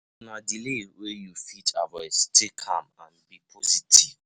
If na delay wey you no fit avoid, stay calm and positive